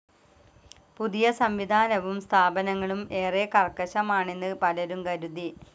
പുതിയ സം‌വിധാനവും സ്ഥാപനങ്ങളും ഏറെ കർക്കശമാണെന്ന് പലരും കരുതി.